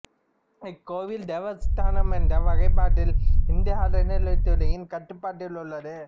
இக்கோயில் தேவஸ்தானம் என்ற வகைப்பாட்டில் இந்து அறநிலையத்துறையின் கட்டுப்பாட்டில் உள்ளது